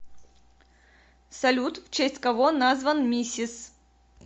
салют в честь кого назван мисис